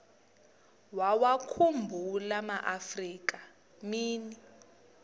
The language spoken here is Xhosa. wawakhumbul amaafrika mini